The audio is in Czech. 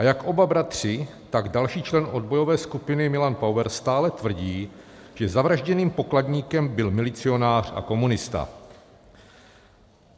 A jak oba bratři, tak další člen odbojové skupiny Milan Pauer, stále tvrdí, že zavražděným pokladníkem byl milicionář a komunista.